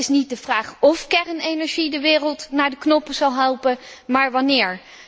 Het is niet de vraag óf kernenergie de wereld naar de knoppen zal helpen, maar wannéér.